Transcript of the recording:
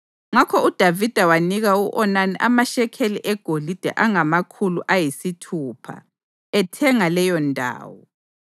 Ngakho uDavida wanika u-Onani amashekeli egolide angamakhulu ayisithupha ethenga leyondawo.